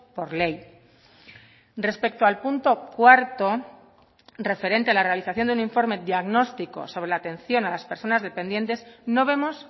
por ley respecto al punto cuarto referente a la realización de un informe diagnóstico sobre la atención a las personas dependientes no vemos